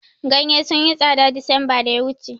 Ganye sun yi tsada desemba da ya wuce